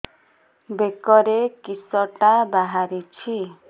ବେକରେ କିଶଟା ବାହାରିଛି